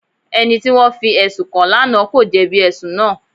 Ẹni tí wọ́n fi ẹ̀sùn kàn lánàá kò jẹ̀bi ẹ̀sùn náà.